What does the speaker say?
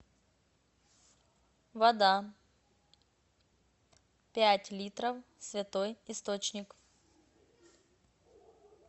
вода пять литров святой источник